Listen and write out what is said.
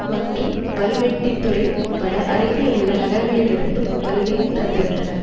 மற்றும் வல்வெட்டித்துறை உட்பட அருகில் உள்ள நகரங்களிலிருந்தும் வருகை தந்திருந்தனர்